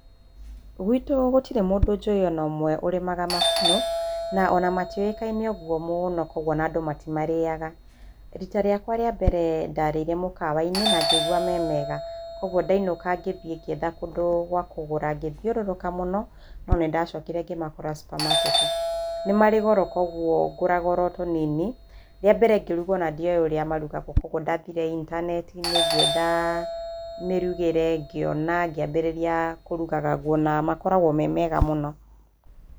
Gwitũ gũtirĩ mũndũ njũĩ o na ũmwe ũrĩmaga makunũ na o na matiũĩkaine ũguo mũno, kwoguo andũ matimarĩaga. Riita rĩakwa rĩa mbere, ndarĩire mũkawa-inĩ na ngĩigua me mega. Kwoguo ndainũka, ngĩthiĩ ngĩetha kũndũ gwa kũgũra. Ngĩthiũrũrũka mũno, no nĩ ndacokire ngĩmakora supamaketi. Nĩ marĩ goro kwoguo ngũraga oro tũnini. Rĩa mbere ngĩruga ona ndioĩ ũrĩa marugagwo kwoguo ndathire intaneti-inĩ, ngĩetha mĩrugĩre, ngĩona, ngĩambĩrĩria kũrugaga guo na makoragwo me mega mũno.